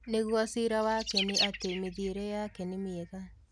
Ningũo cĩĩra wake nĩ atĩ mĩthiĩre yake nĩ mĩega